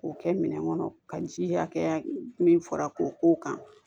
K'o kɛ minɛn kɔnɔ ka ji hakɛya min fara k'o k'o kan